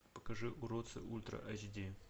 покажи уродцы ультра айч ди